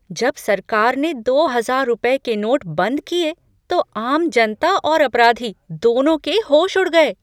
जब सरकार ने दो हजार रुपये के नोट बंद किए, तो आम जनता और अपराधी, दोनों के होश उड़ गए थे।